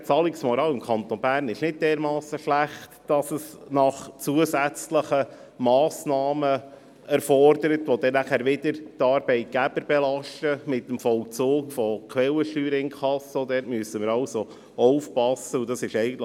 Die Zahlungsmoral im Kanton Bern ist nicht dermassen schlecht, dass zusätzliche Massnahmen gefordert werden müssen, die mit dem Vollzug von Quellensteuerinkasso schliesslich wieder die Arbeitgeber belasten.